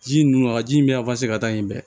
Ji ninnu a ji in bɛ ka taa yen dɛ